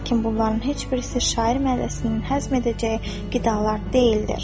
Lakin bunların heç birisi şair mədəsinin həzm edəcəyi qidalar deyildir.